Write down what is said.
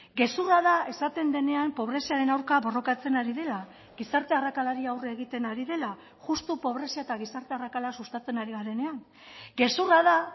gezurra da esaten denean pobreziaren aurka borrokatzen ari dela gizarte arrakalari aurre egiten ari dela justu pobrezia eta gizarte arrakala sustatzen ari garenean gezurra da